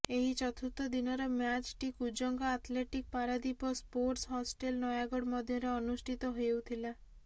ଏହି ଚତୁର୍ଥ ଦିନର ମ୍ୟାଚ୍ଟି କୁଜଙ୍ଗ ଆଥଲେଟିକ୍ ପାରାଦ୍ୱପ ଓ ସ୍ପୋର୍ଟସ୍ ହଷ୍ଟେଲ ନୟାଗଡ ମଧ୍ୟରେ ଅନୁଷ୍ଠିତ ହେଉଥିଲା